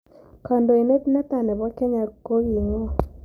Kandoindet netaa ne po kenya kogiing'o